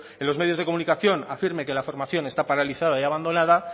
en los medios de comunicación afirme que la formación está paralizada y abandonada